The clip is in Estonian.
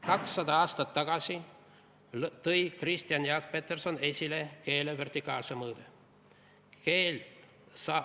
200 aastat tagasi tõi Kristjan Jaak Peterson esile keele vertikaalse mõõtme.